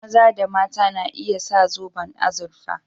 Maza da mata na iya sa zoban azurfa